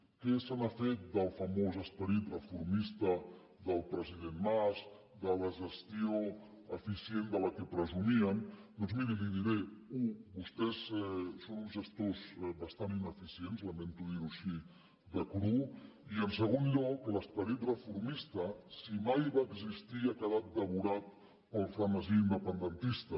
què se n’ha fet del famós esperit reformista del president mas de la gestió eficient de la qual presumien doncs miri li ho diré u vostès són uns gestors bastant ineficients lamento dirho així de cru i en segon lloc l’esperit reformista si mai va existir ha quedat devorat pel frenesí independentista